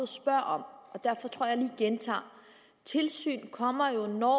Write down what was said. spørger om derfor tror jeg gentager tilsyn kommer jo når